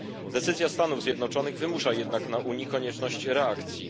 Decyzja Stanów Zjednoczonych wymusza jednak na Unii konieczność reakcji.